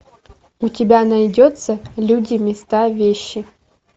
у тебя найдется люди места вещи